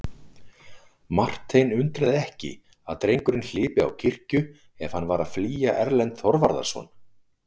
Martein undraði ekki að drengurinn hlypi á kirkju ef hann var að flýja Erlend Þorvarðarson.